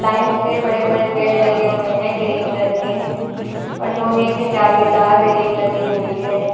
Line से बड़े बड़े पेड़ लगे हुए हैं ग्रीन कलर के और लोहे के जालीदार रेलिंग लगी हुई है।